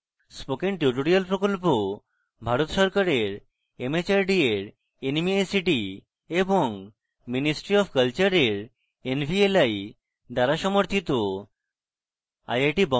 spoken tutorial project Bharat সরকারের mhrd এর nmeict এবং ministry অফ কলচারের nvli দ্বারা সমর্থিত